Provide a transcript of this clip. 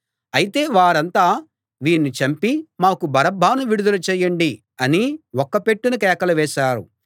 అయితే వారంతా వీణ్ణి చంపి మాకు బరబ్బను విడుదల చెయ్యండి అని ఒక్కపెట్టున కేకలు వేశారు